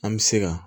An bɛ se ka